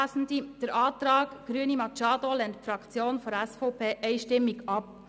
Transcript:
Den Antrag Grüne/Machado lehnt die SVP-Fraktion einstimmig ab.